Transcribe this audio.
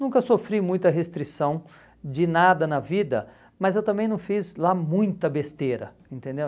Nunca sofri muita restrição de nada na vida, mas eu também não fiz lá muita besteira, entendeu?